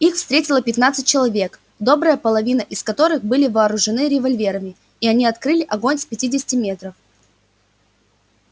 их встретило пятнадцать человек добрая половина из которых были вооружены револьверами и они открыли огонь с пятидесяти метров